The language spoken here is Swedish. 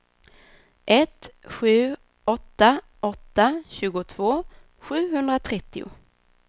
ett sju åtta åtta tjugotvå sjuhundratrettio